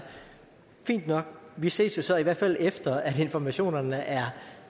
fint nok vi ses jo så i hvert fald efter at informationerne er